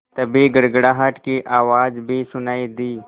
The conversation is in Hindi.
तभी गड़गड़ाहट की आवाज़ भी सुनाई दी